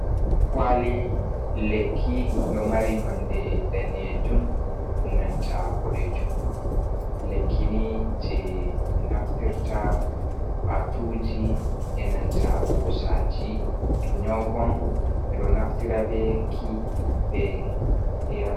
Kwali lekki ɗo mari nonde danejum e nanta boɗejum lekkini je naftirta patuji e nanta ɓosaji to nyaukon ɓeɗo naftira beki beyar.